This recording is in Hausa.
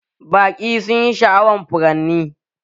Baƙi sunyi sha'awan furanni